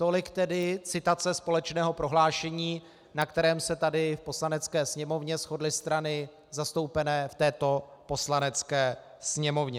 Tolik tedy citace společného prohlášení, na kterém se tady v Poslanecké sněmovny shodly strany zastoupené v této Poslanecké sněmovně.